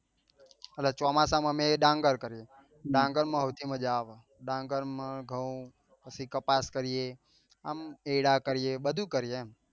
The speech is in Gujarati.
એટલે ચોમાસા માં અમે ડાંગર કરીએ ડાંગર માં સૌથી મજા આવે ડાંગર માં ઘઉં પછી કપાસ કરીએ આમ એડા કરીએ બધું કરીએ એમ